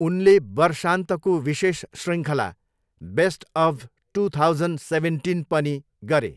उनले वर्षान्तको विशेष शृङ्खला, best of two thousand seventeen पनि गरे।